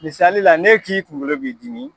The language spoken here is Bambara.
Misali la ne k'i kungolo b'i dimi